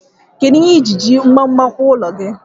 Kedu ihe ije iji gbagbam kuụọ ụlọ gi?